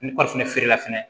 Ni feerela fɛnɛ